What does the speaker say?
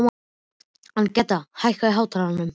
Agneta, hækkaðu í hátalaranum.